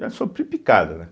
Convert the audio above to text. Já sofri picada, né?